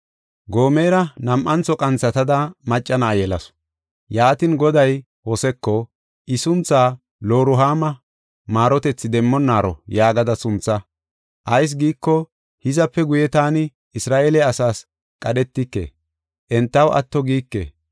Gomera nam7antho qanthatada, macca na7a yelasu. Yaatin, Goday Hoseko, “I suntha Loruhaama (Maarotethi demmonaaro) yaagada suntha. Ayis giiko, hizape guye taani Isra7eele asas qadhetike; entaw atto giike.